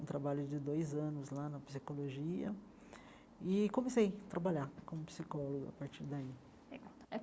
um trabalho de dois anos lá na psicologia e comecei a trabalhar como psicólogo a partir daí.